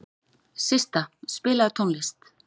Systa, spilaðu tónlist.